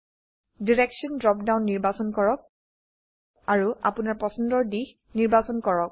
direction drop down নিৰ্বাচন কৰক আৰু আপোনৰ পছন্দৰ দিশ নিৰ্বাচন কৰক